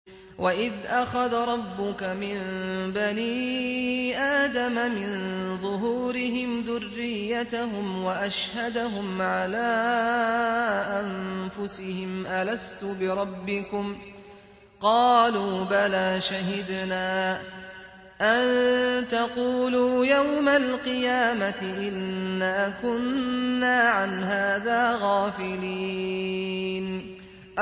وَإِذْ أَخَذَ رَبُّكَ مِن بَنِي آدَمَ مِن ظُهُورِهِمْ ذُرِّيَّتَهُمْ وَأَشْهَدَهُمْ عَلَىٰ أَنفُسِهِمْ أَلَسْتُ بِرَبِّكُمْ ۖ قَالُوا بَلَىٰ ۛ شَهِدْنَا ۛ أَن تَقُولُوا يَوْمَ الْقِيَامَةِ إِنَّا كُنَّا عَنْ هَٰذَا غَافِلِينَ